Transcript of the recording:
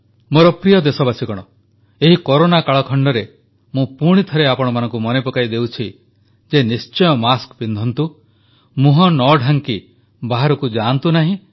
ମୋର ପ୍ରିୟ ଦେଶବାସୀଗଣ ଏହି କରୋନା କାଳଖଣ୍ଡରେ ମୁଁ ପୁଣିଥରେ ଆପଣମାନଙ୍କୁ ମନେ ପକାଇଦେଉଛି ଯେ ନିଶ୍ଚୟ ମାସ୍କ ପିନ୍ଧନ୍ତୁ ମୁହଁ ନ ଢାଙ୍କି ବାହାରକୁ ଯାଆନ୍ତୁ ନାହିଁ